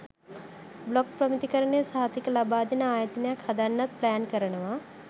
blog ප්‍රමිතිකරණ සහතික ලබාදෙන ආයතනයක් හදන්නත් ප්ලෑන් කරනවා